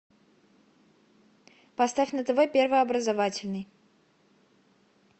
поставь на тв первый образовательный